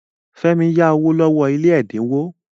Fẹ́mi yá owó lọ́wọ́ ilé ẹ̀dínwó.